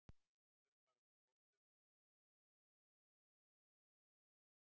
Förum bara út á gólfið og sjáum hvort örlögin verði okkur ekki hliðholl